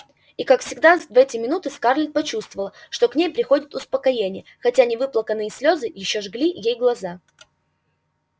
и как всегда в эти минуты скарлетт почувствовала что к ней приходит успокоение хотя невыплаканные слёзы ещё жгли ей глаза